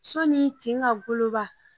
Sɔni tin ka goloba